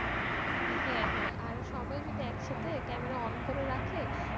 হ্যাঁ হ্যাঁ আর সবাই যদি একসাথে camera on করে রাখে,